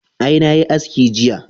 Ae, na yi aski jiya